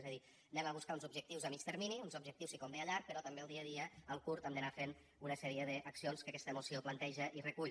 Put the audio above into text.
és a dir anem a buscar uns objectius a mitjà termini uns objectius si convé a llarg però també el dia a dia al curt també anar fent una sèrie d’accions que aquesta moció planteja i recull